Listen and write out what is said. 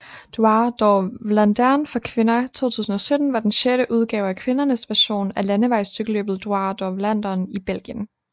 Dwars door Vlaanderen for kvinder 2017 var den sjette udgave af kvindernes version af landevejscykelløbet Dwars door Vlaanderen i Belgien